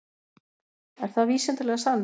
Er það vísindalega sannað?